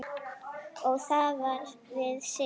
Og þar við situr.